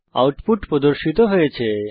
output প্রদর্শিত হয়েছে